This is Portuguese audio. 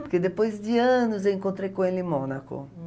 Porque depois de anos eu encontrei com ele em Mônaco.